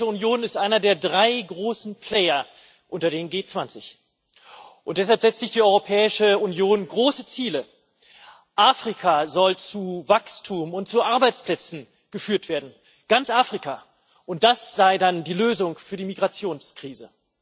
Die Europäische Union ist einer der drei großen Player unter den G20, und deshalb setzt sich die Europäische Union große Ziele Afrika soll zu Wachstum und zu Arbeitsplätzen geführt werden ganz Afrika und das sei dann die Lösung für die Migrationskrise.